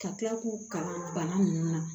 Ka tila k'u kalan bana ninnu na